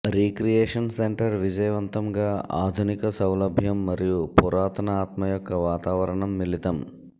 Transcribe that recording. recreation centre విజయవంతంగా ఆధునిక సౌలభ్యం మరియు పురాతన ఆత్మ యొక్క వాతావరణం మిళితం